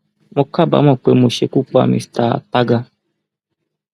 mo kábàámọ pé mo ṣekú pa mister àtagà